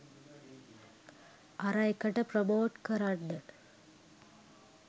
අර එකට ප්‍රොමෝට් කරන්න